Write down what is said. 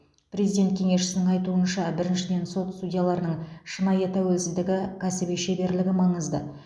президент кеңесшісінің айтуынша біріншіден сот судьяларының шынайы тәуелсіздігі кәсіби шеберлігі маңызды